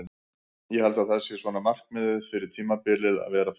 Ég held að það sé svona markmiðið fyrir tímabilið að vera þar.